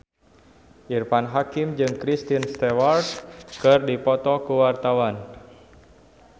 Irfan Hakim jeung Kristen Stewart keur dipoto ku wartawan